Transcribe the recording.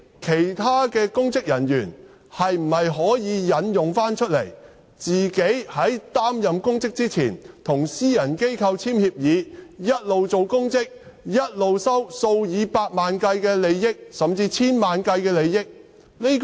其他公職人員可否引用這4項條件，即他們如在擔任公職前與私人機構簽訂協議，便可一邊出任公職，一邊收取數以百萬計，甚至數以千萬計的利益？